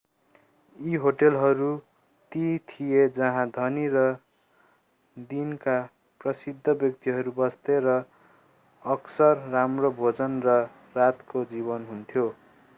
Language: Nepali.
यी होटलहरू ती थिए जहाँ धनी र दिनका प्रसिद्ध व्यक्तिहरू बस्थे र अक्सर राम्रो भोजन र रातको जीवन हुन्थ्यो